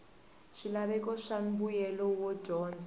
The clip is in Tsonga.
swilaveko swa mbuyelo wa dyondzo